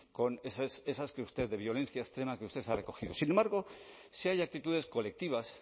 con esas que usted de violencia extrema que usted ha recogido sin embargo sí hay actitudes colectivas